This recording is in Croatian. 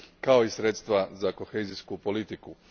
kao i sredstva za kohezijsku politiku.